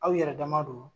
Aw yɛrɛ dama don